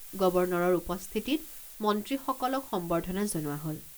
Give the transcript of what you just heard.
গৱৰ্ণৰৰ উপস্থিতিত মন্ত্ৰীসকলক সম্বৰ্ধনা জনোৱা হল।